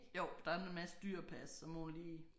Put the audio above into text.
Jo der en masse dyr at passe så må hun lige